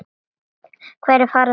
Hverjir fara með þau?